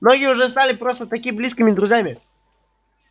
многие уже стали просто-таки близкими друзьями